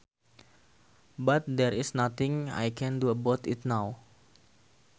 But there is nothing I can do about it now